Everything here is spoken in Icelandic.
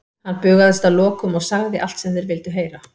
Hann bugaðist að lokum og sagði þeim allt sem þeir vildu heyra.